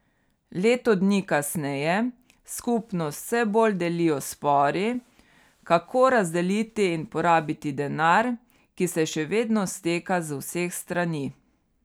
Leto dni kasneje skupnost vse bolj delijo spori, kako razdeliti in porabiti denar, ki se še vedno steka z vseh strani.